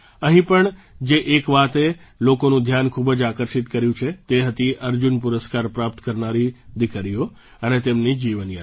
અહીં પણ જે એક વાતે લોકોનું ધ્યાન ખૂબ આકર્ષિત કર્યું છે તે હતી અર્જુન પુરસ્કાર પ્રાપ્ત કરનારી દીકરીઓ અને તેમની જીવનયાત્રા